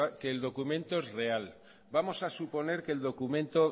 que el documento es real vamos a suponer que el documento